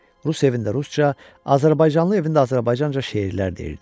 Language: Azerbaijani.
Rus evində rusca, azərbaycanlı evində azərbaycanca şeirlər deyirdi.